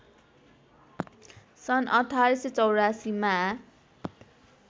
सन् १८८४ मा